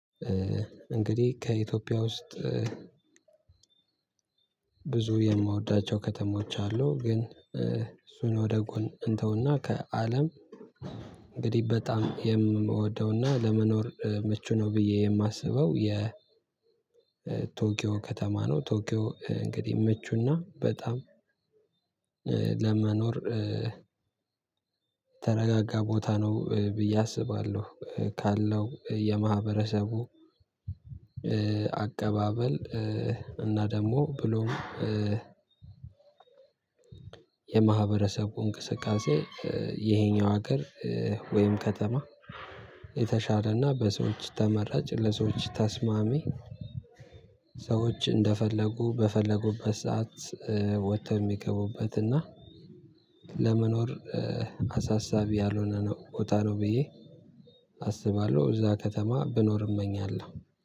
እንግዲህ ከኢትዮጵያ ውስጥ ብዙ የምወዳቸው ከተሞች አሉ። ግን እሱን ወደ ጎን እንተውና ከአለም እንግዲህ በጣም የምወደውና ለመኖር ምቹ ነው ብዬ የማስበው የ ቶኪዮ ከተማ ነው። ቶኪዮ እንግዲህ ምቹና በጣም ለመኖር ተረጋጋ ቦታ ነው ብዬ አስባለሁ። ካለው የማህበረሰቡ አቀባበል እና ደግሞ ብሎም የማህበረሰቡ እንቅስቃሴ ይሄኛው ሀገር ወይም ከተማ የተሻሌና በሰዎች ተመራጭ ለሰዎች ተስማሚ ሰዎች እንደፈለጉ በፈለጉበት ሰዓት ወጥተው የሚገቡበት እና ለመኖር አሳሳቢ ያልሆነ ነው ቦታ ነው ብዬ አስባለሁ እዛ ከተማ ብኖር እመኛለሁ።